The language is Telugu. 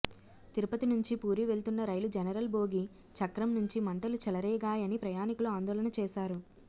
తిరుపతి నుంచి పూరి వెళ్తున్న రైలు జనరల్ బోగి చక్రం నుంచి మంటలు చెలరేగాయని ప్రయాణికులు ఆందోళన చేశారు